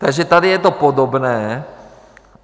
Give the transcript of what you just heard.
Takže tady je to podobné.